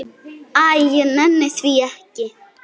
Æ, ég nenni því ekki.